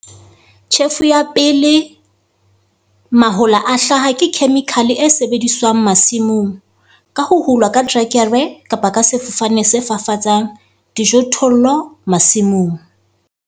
Tjhefo ya pele mahola a hlaha ke khemikhale e sebediswang masimong ka ho hulwa ka terekere kapa ka sefofane se fafatsang dijothollo masimong.